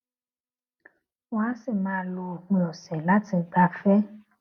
wón á sì máa lo òpin òsè láti gbafẹ